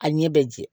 A ɲɛ bɛ jɛ